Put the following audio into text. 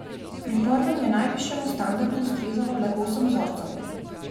Pri prvem je najvišjemu standardu ustrezalo le osem vzorcev.